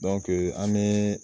Dɔnkeŋ an be